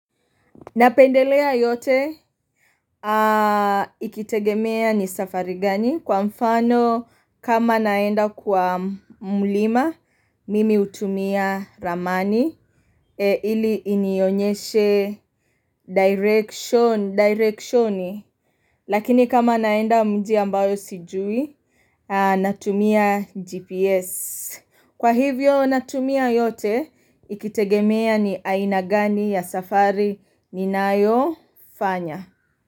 Napendelea yote ikitegemea ni safari gani kwa mfano kama naenda kwa mlima mimi utumia ramani ili inionyeshe directioni Lakini kama naenda mji ambayo sijui natumia GPS Kwa hivyo natumia yote ikitegemea ni ainagani ya safari ninayo fanya.